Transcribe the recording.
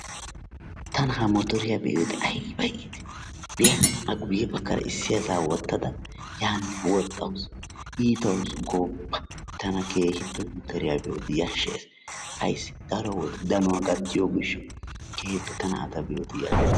Tana ha mororiyaa be'iyoode ayba iitii! be'a a guye baggaara issi asaa wottada yaanne wooxxawus iitawus gooppa. Tana keehippe motoriyaa be'iyoode yashshees. Ayssi daro wode danuwaa gattiyoo giishshawu tana a be'iyoo deyashshees.